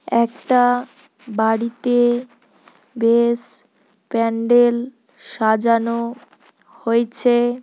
একটা বাড়িতে বেশ প্যান্ডেল সাজানো হয়েছে।